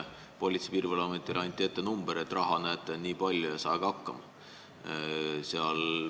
Politsei- ja Piirivalveametile anti rahanumber: näete, on nii palju ja saage hakkama.